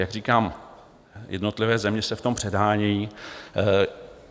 Jak říkám, jednotlivé země se v tom předhánějí.